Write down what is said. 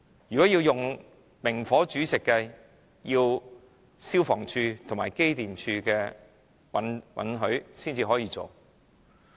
如果要求明火煮食，要得到消防處和機電工程署的批准。